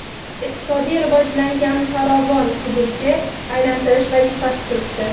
iqtisodiy rivojlangan farovon hududga aylantirish vazifasi turibdi.